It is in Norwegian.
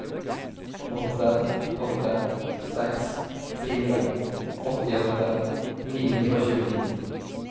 åtte åtte seks fire åttiåtte ni hundre og tjueni